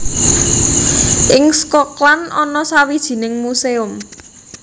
Ing Schokland ana sawijining muséum